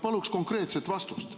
Palun konkreetset vastust.